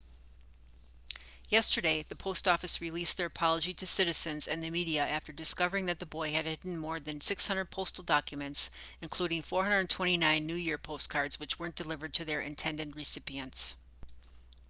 yesterday the post office released their apology to citizens and the media after discovering that the boy had hidden more than 600 postal documents including 429 new year postcards which weren't delivered to their intended recipients